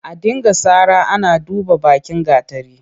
A dinga sara ana duban bakin gatari.